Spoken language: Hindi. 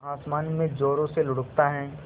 आसमान में ज़ोरों से लुढ़कता है